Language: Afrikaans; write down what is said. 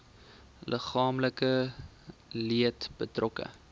liggaamlike leed betrokke